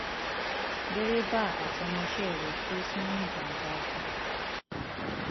dèrèbà àtọmọọṣe rẹ kú sínú ìjàmbá ọkọ